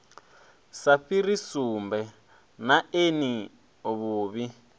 sa fhiri sumbe neani vhuvhi